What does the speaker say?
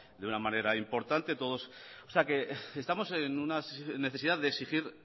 de una manera importante estamos en una situación de exigir